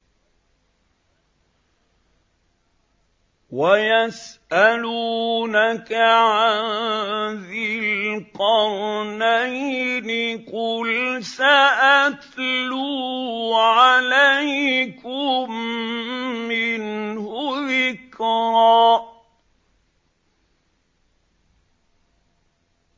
وَيَسْأَلُونَكَ عَن ذِي الْقَرْنَيْنِ ۖ قُلْ سَأَتْلُو عَلَيْكُم مِّنْهُ ذِكْرًا